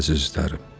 yox əzizlərim.